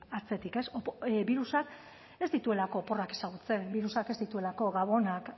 atzetik ez birusak ez dituelako oporrak ezagutzen birusak ez dituelako gabonak